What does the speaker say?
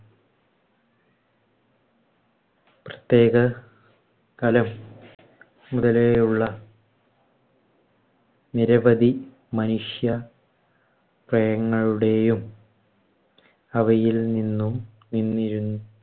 പ്രത്യേക കലം മുതലേയുള്ള നിരവധി മനുഷ്യ ങ്ങളുടേയും, അവയിൽനിന്നും നിന്നിരു